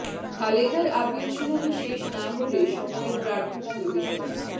খালেদার appeal শুনানি শেষ না হলে সময়ের প্রার্থনা বিবেচনা